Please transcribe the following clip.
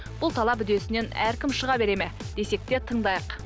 бұл талап үдесінен әркім шыға бере ме десек те тыңдайық